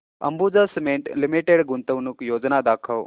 Ambuja cement limited गुंतवणूक योजना दाखव